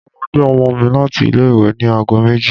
Mo lọ gbé ọmọ mi láti ilé-ìwé ní ago méjì.